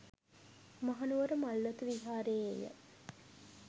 මහනුවර මල්වතු විහාරයේ ය